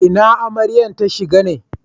Ina Amaryan ta shiga ne?